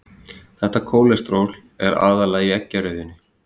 Þetta kólesteról er aðallega í eggjarauðunni.